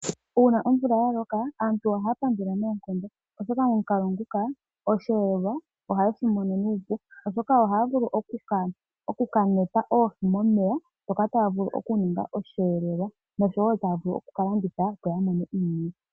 Uuna omvula ya loka, aantu ohaya pandula noonkondo, oshoka momukalo nguka osheelelwa ohaye shi mono nuupu, oshoka ohaya vulu oku ka meta oohi momeya, ndhoka taya vulu okuninga osheelelwa oshowo taya vulu oku ka landitha , opo ya mone iiyemo.